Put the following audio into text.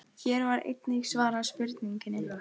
Hér var einnig svarað spurningunni: